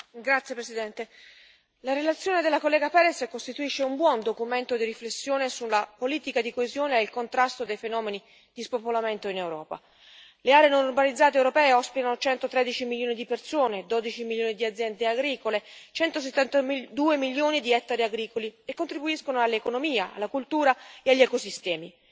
Signor Presidente, onorevoli colleghi, la relazione della collega Pérez costituisce un buon documento di riflessione sulla politica di coesione e il contrasto dei fenomeni di spopolamento in Europa. Le aree non urbanizzate europee ospitano 113 milioni di persone, 12 milioni di aziende agricole e 172 milioni di ettari agricoli e contribuiscono all'economia, alla cultura e agli ecosistemi.